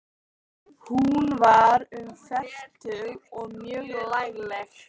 Hún var um fertugt og mjög lagleg.